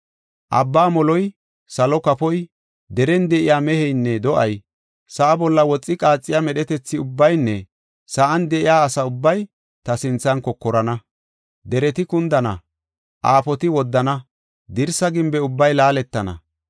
Abbaa moloy, salo kafoy, deren de7iya meheynne do7ay, sa7a bolla woxi qaaxiya medhetethi ubbaynne sa7an de7iya asa ubbay ta sinthan kokorana. Dereti kundana; aafoti woddana; dirsa gimbe ubbay laaletana.